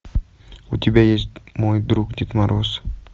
у тебя есть мой друг дед мороз